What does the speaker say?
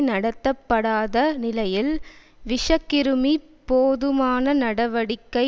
நடத்தப்படாத நிலையில் விஷக்கிருமி போதுமான நடவடிக்கை